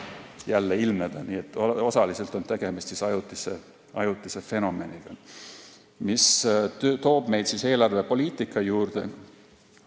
Nii et osaliselt on tegemist ajutise fenomeniga, mis toob meid eelarvepoliitika juurde.